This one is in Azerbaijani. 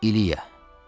İliya.